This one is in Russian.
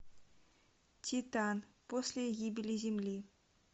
титан после гибели земли